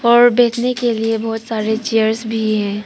और बैठने के लिए बहोत सारे चेयर्स भी हैं।